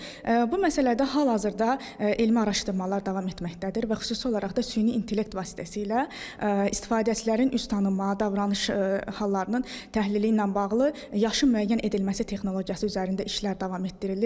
Bu məsələdə hal-hazırda elmi araşdırmalar davam etməkdədir və xüsusi olaraq da süni intellekt vasitəsilə istifadəçilərin üz tanınma, davranış hallarının təhlili ilə bağlı yaşın müəyyən edilməsi texnologiyası üzərində işlər davam etdirilir.